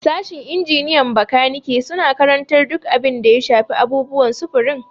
Sashin injiniyan makaniki suna karantar duk abin da ya shafi abubuwan sufurin.